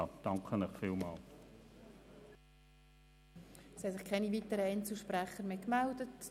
Es haben sich keine weiteren Einzelsprecher gemeldet.